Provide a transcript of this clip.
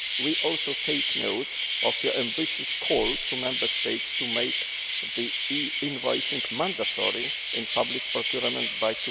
We also take note of your ambitious call to the Member States to make e invoicing mandatory in public procurement by